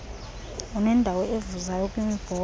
unendawo evuzayo kwimibhobho